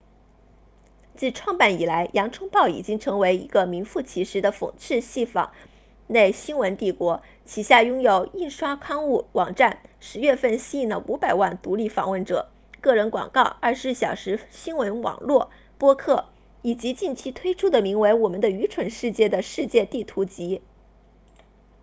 自创办以来洋葱报已经成为一个名副其实的讽刺戏仿类新闻帝国旗下拥有印刷刊物网站10月份吸引了500万独立访问者个人广告24小时新闻网络播客以及近期推出的名为我们的愚蠢世界的世界地图集